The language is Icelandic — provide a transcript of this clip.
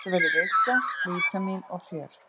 Þetta verður veisla, vítamín og fjör.